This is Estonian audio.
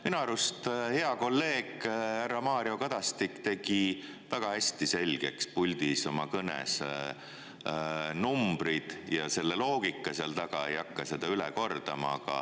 Minu arust hea kolleeg härra Mario Kadastik tegi väga hästi selgeks puldis oma kõnes numbrid ja selle loogika seal taga, ei hakka seda üle kordama.